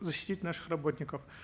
защитить наших работников